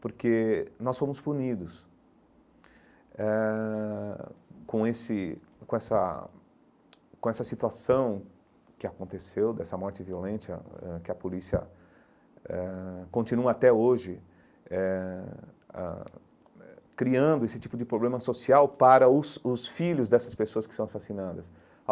Porque nós fomos punidos eh com esse com essa com essa situação que aconteceu, dessa morte violente ãh ãh que a polícia ãh continua até hoje eh ãh eh, criando esse tipo de problema social para os os filhos dessas pessoas que são assassinadas.